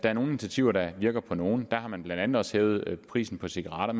er nogle initiativer der virker på nogle der har man blandt andet også hævet prisen på cigaretter